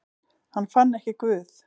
Hann fann ekki Guð.